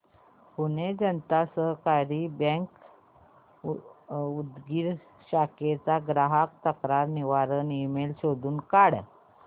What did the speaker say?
Pune Janata Sahakari bank Udgir शाखेचा ग्राहक तक्रार निवारण ईमेल शोधून सांग